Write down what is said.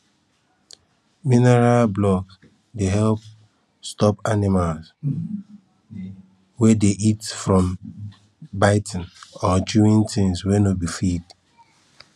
mineral blocks dey help stop animals wey dey eat from biting or chewing things wey no be feed